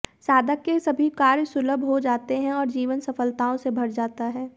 साधक के सभी कार्य सुलभ हो जाते हैं और जीवन सफलताओं से भर जाता है